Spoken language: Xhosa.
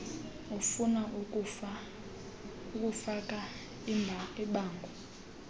ufuna ukufaka ibango